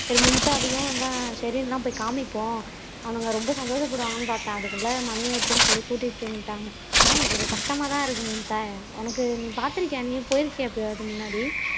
சரி மும்தாவையும் இவன் ஷெரினு போய் காமிப்போம் அவனுங்க ரொம்ப சந்தோஷப்படுவாங்கன்னு பார்த்தேன் அதுக்குள்ள மணி ஆயிடுச்சுன்னு சொல்லி கூட்டிட்டு வந்துட்டாங்க என்ன பண்றது கஷ்டமாதான் இருக்கு மும்தா உனக்கு நீ பார்த்திருக்கியா நீ போயிருக்கியா எப்பையாவது முன்னாடி